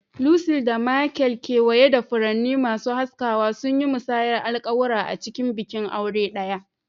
Lucy da Michael, kewaye da furanni masu haskawa, sun yi musayar alƙawura a cikin bikin aure ɗaya.